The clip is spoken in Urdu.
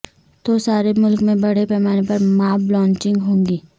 تو سارے ملک میں بڑے پیمانے پر ماب لنچنگ ہوگی